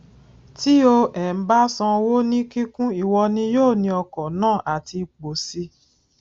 tí o um bá san owó ní kíkún ìwọ ni yóò ní ọkọ náà àti ipò sì